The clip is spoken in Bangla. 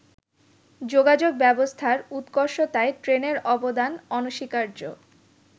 যোগাযোগ ব্যবস্থার উৎকর্ষতায় ট্রেনের অবদান অনস্বীকার্য।